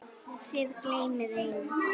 Þið gleymið einu.